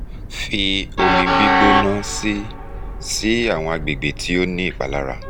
fi omi gbona si si awọn agbegbe ti o ni ipalara